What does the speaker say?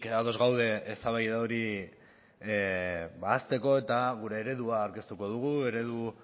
ados gaude eztabaida hori ahazteko eta gure eredua aurkeztuko dugu eredu